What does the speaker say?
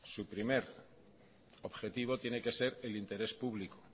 su primer objetivo tiene que ser el interés público